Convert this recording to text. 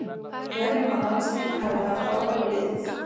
Við teljum að landsleikir hafi haft áhrif á liðið.